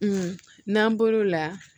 n'an bɔr'o la